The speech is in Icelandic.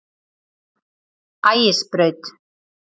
Ægisbraut